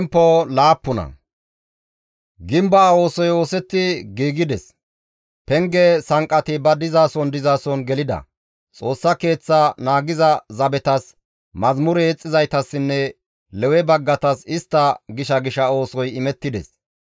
Gimbaa oosoy oosetti giigides; penge sanqqati ba dizason dizason gelida; Xoossa Keeththa naagiza zabetas, mazamure yexxizaytassinne Lewe baggatas istta gisha gisha oosoy imettides.